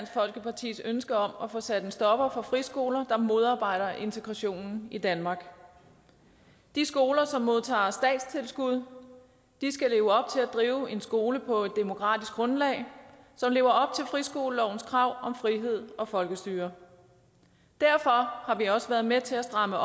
folkepartis ønske om at få sat en stopper for friskoler der modarbejder integrationen i danmark de skoler som modtager statstilskud skal leve op til at drive en skole på et demokratisk grundlag som lever op til friskolelovens krav om frihed og folkestyre derfor har vi også været med til at stramme